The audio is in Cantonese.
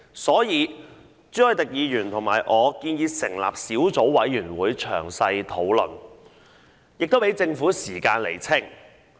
所以，朱凱廸議員和我建議成立小組委員會詳細討論，亦給政府時間釐清。